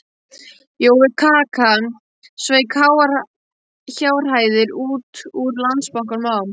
Jói kaka sveik háar fjárhæðir út úr Landsbankanum á